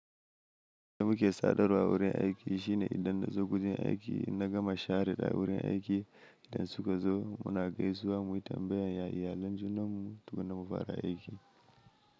Abin da muke sadarwa a wurin aiki shine idan na zo gurin aiki, ina gama share da wurin aiki idan suka zo, muna gaisuwa mu yi tambayar ya iyalen junanmu tukuna mufara aiki.